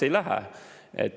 Ei lähe!